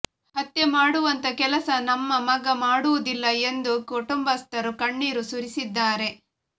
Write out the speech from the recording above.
ಹತ್ಯೆ ಮಾಡುವಂತ ಕೆಲಸ ನಮ್ಮ ಮಗ ಮಾಡುವುದಿಲ್ಲ ಎಂದು ಕುಟುಂಬಸ್ಥರು ಕಣ್ಣೀರು ಸುರಿಸಿದ್ದಾರೆ